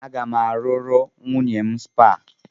Aga m arụrụ nwunye m spa.